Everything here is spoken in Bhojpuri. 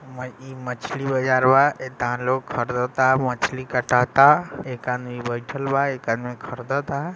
इ मछली बाजार बा ये दान लोग खरीद ता मछली काटाता एक यहा बैठलवा एक आदमी खरीद ता